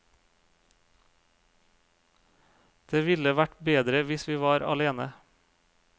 Det ville vært bedre hvis vi var alene.